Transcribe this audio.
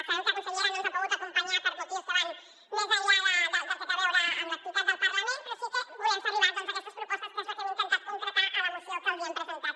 sabem que la consellera no ens ha pogut acompanyar per motius que van més enllà del que té a veure amb l’activitat del parlament però sí que volem fer arribar aquestes propostes que és el que hem intentat concretar a la moció que els hem presentat